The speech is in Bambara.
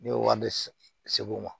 Ne y'o wari segu ma